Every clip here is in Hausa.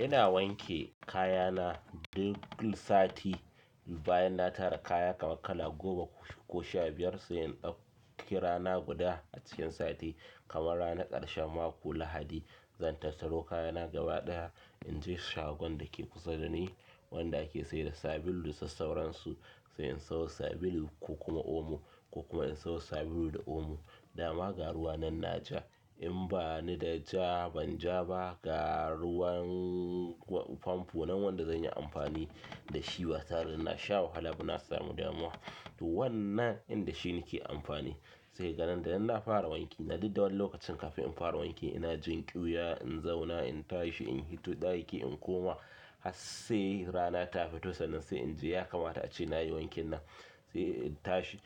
Ina wanke kaya na duk sati. Bayan na tara kaya kamar kala goma ko sha biyar, sai in ɗauki rana guda a cikin sati, kamar ranar ƙarshen mako Lahadi. Zan tattaro kaya na gaba ɗaya, in je shagon da ke kusa da ni wanda ake sayar da sabulu da su sauransu. Sai in sayo sabulu ko kuma omo, ko kuma in sayo sabulu da omo, dama, ga ruwa nan na ja. In banida ita ban ja ba, ga ruwan famfo nan wanda zan yi amfani da shi ba tare da na sha wahala ba na samu damuwa to wannan in da shi nake amfani. Sai ka ga nan da nan na fara wanki na duk da wani lokacin kafin in fara wanki ina jin ƙyuya, in zauna, in tashi, in hito ɗaki, in koma har sai rana ta fito. Sannan sai in ji ya kamata ace nayi wankin nan sai in tashi,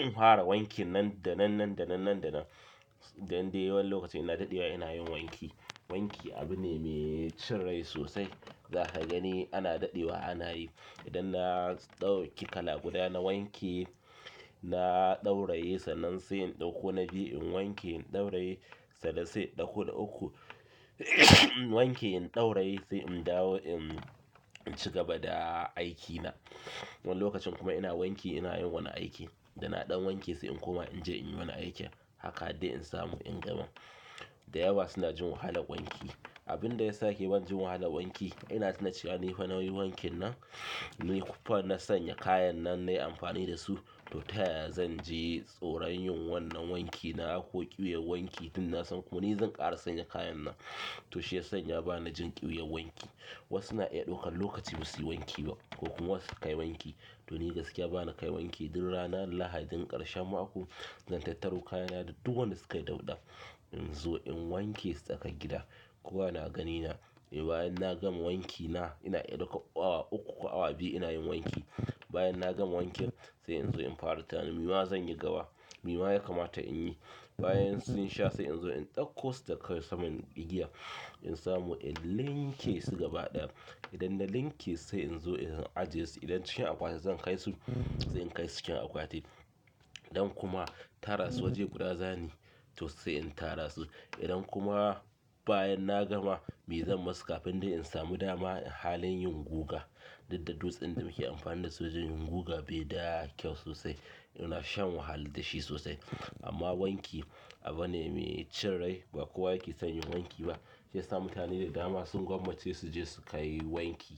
in fara wankin nan da nan, nan da nan, nan da nan. Dan dai wani lokaci ina daɗewa ina yin wanki. Wanki abu ne mai cin rai sosai. Za ka gani ana daɗewa ana yi. Idan na ɗauki kala guda na wanke na ɗauraye sannan sai in ɗauko na biyu in wanke in ɗauraye sannan sai in ɗauko na uku in wanke in ɗauraye sai in dawo in ci gaba da aikina. Wani lokacin kuma ina wanki ina yin wani aiki. Dana ɗan wanke sai in koma in je in yi wani aiki. Haka har dai in samu in gama. Da yawa suna jin wahalar wanki. Abin da ya sa yake ban jin wahalar wanki, ina tuna cewa ni fa nauyin wankin nan, ni fa na sanya kayan nan na yi amfani da su. To ta yaya zan ji tsoron yin wannan wanki? Na auko ƙyuwar wanki tunda na san kuma ni zan ƙara sanya kayan nan. To shi ya sanya ba na jin ƙyuwar wanki. Wasu na iya ɗaukan lokaci ba su yi wanki ba, ko kuma wasu su kai wanki. To ni gaskiya ba na kai wanki duk ranar lahadin ƙarshen mako, zan tattaro kayana da duk wanda suka dauɗa in zo in wanke su tsakar gida. Kowa na gani na. Bayan na gama wankina ina iya ɗaukar awa uku ko awa biyu ina yin wanki. Bayan na gama wankin sai in zo in fara tunanin me ma zan yi gaba me ma ya kamata in yi bayan sun sha sai in zo in ɗauko wu daga kan saman igiya in samu in linke su gaba ɗaya. Idan na linke sai in zo in ajiye su. Idan cikin akwati zan kai su, sai in kai su cikin akwati. Idan kuma tara su waje guda za ni yi to sai in tara su idan kuma bayan na gama, me zan masu kafin dai in samu dama halin yin guga? Duk da dutsin da muke amfani da su wajen yin guga bai da kyau sosai. Ina shan wahala da shi sosai. Amma wanki abu ne mai cin rai ba kowa yake son yin wanki ba. Shiyasa mutane da dama sun gwammace su je su kai wanki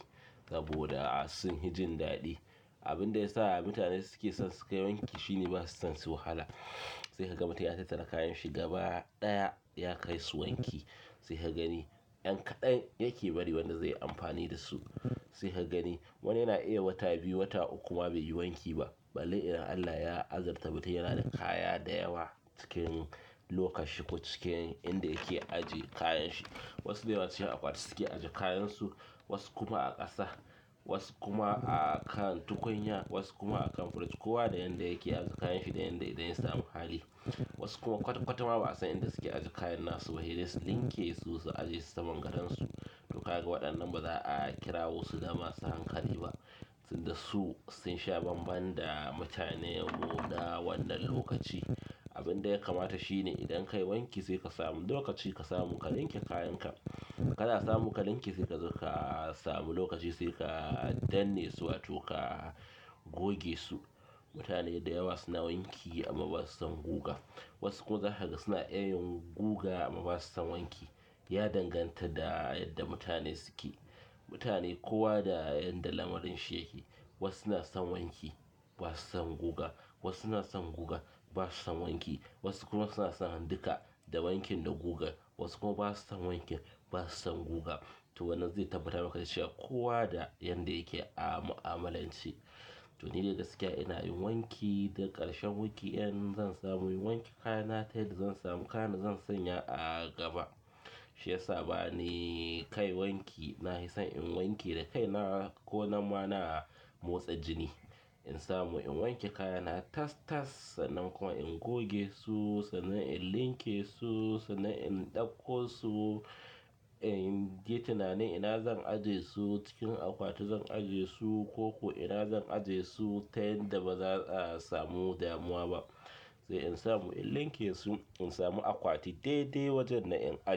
saboda sun hi jin daɗi. Abin da yasa mutane suke son su kai wanki shine ba su son su wahala. Sai ka ga mutum ya tattara kayan shi gaba ɗaya ya kai su wanki. Sai ka gani ɗan kaɗan yake bari wanda zai yi amfani da su. Sai ka gani wani yana iya wata biyu, wata uku ma bai yi wanki ba. Balle idan Allah ya azurta mutum yana da kaya da yawa cikin lokar shi ko cikin inda yake ajiye kayan shi. Wasu da yawa cikin akwati suke ajiye kayansu, wasu kuma a ƙasa, wasu kuma a kan tukunya, wasu kuma a kan firij. Kowa da yanda yake ajiye kayan shi da yanda idan ya samu hali. Wasu kuma kwata-kwata ma ba a san inda suke ajiye kayan nasu ba. Sai dai su linke su, su ajiye su saman gadonsu. To ka ga waɗannan ba za a kirawo su da masu hankali ba. Tun da su sun sha bambam da mutanen mu na wannan lokaci. Abin da ya kamata shi ne idan ka yi wanki sai ka samu lokaci ka samu ka linke kayan ka. Kana samu ka linke sai ka zo ka samu lokaci sai ka danne su wato ka goge su. Mutane da yawa suna wanki amma ba su san guga. Wasu kuma za ka ga suna iya yin guga amma ba su san wanki. Ya danganta da yadda mutane suke. Mutane kowa da yanda lamarin shi yake. Wasu na san wanki ba su san guga, wasu na san guga ba su san wanki. Wasu kuma suna son duka da wankin da guga. Wasu kuma ba su san wanki, ba su san guga. To wannan zai tabbatar maka da cewa kowa da yanda yake a mu'amalance to nidai gaskiya ina yin wanki daga ƙarshen wanki in zan samu in wanke kaya na ta yadda zan sama kayan da zan sa a gaba. Shiyasa bani kai wanki. Na hi son in wanke da kai na ko nan ma na motsa jini. In samu in wanke kayana tas-tas sannan kuma in goge su sannan in linke su sannan in ɗauko su, in yi tunanin ina zan ajiye su cikin akwati zan ajiye su ko kuma ina zan ajiye su ta yanda ba za a samu damuwa ba. Sai in samu in linke su, in samu akwati daidai wajen nan in.